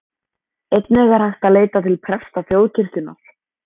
Einnig er hægt að leita til presta þjóðkirkjunnar.